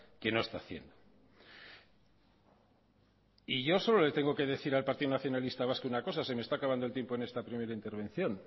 que no está haciendo y yo solo le tengo que decir al partido nacionalista vasco una cosa que se me está acabando el tiempo en esta primera intervención